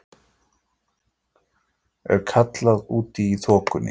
er kallað úti í þokunni.